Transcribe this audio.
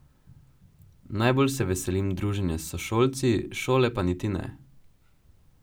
Najbolj se veselim druženja s sošolci, šole pa niti ne.